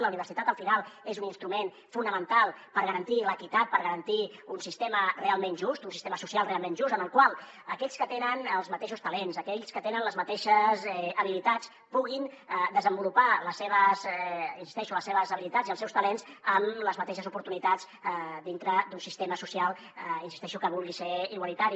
la universitat al final és un instrument fonamental per garantir l’equitat per garantir un sistema realment just un sistema social realment just en el qual aquells que tenen els mateixos talents aquells que tenen les mateixes habilitats puguin desenvolupar hi insisteixo les seves habilitats i els seus talents amb les mateixes oportunitats dintre d’un sistema social hi insisteixo que vulgui ser igualitari